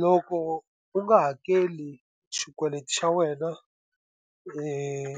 Loko u nga hakeli xikweleti xa wena